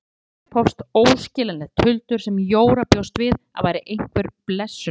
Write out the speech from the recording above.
Síðan upphófst óskiljanlegt tuldur sem Jóra bjóst við að væri einhver blessunarorð.